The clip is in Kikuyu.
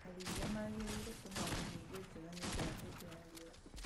Arĩithia magĩrĩirwo kũharĩria irio njeganĩũndũ wa hindĩ ya riua